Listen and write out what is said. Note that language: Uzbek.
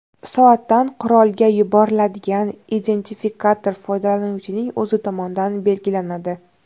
Soatdan qurolga yuboriladigan identifikator foydalanuvchining o‘zi tomonidan belgilanadi.